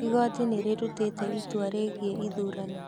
Igoti nĩ rĩrutĩte itua rĩgiĩ ithurano